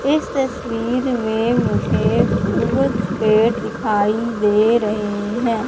इस तस्वीर में मुझे कुछ पेड़ दिखाई दे रहे है।